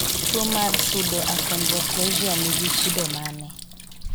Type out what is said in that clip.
Tuo mar Pseudoachondroplasia ni gi kido mane?